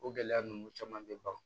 O gɛlɛya ninnu caman bɛ ban